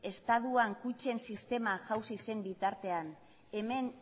estatuan kutxen sistema jauzi zen bitartean hemen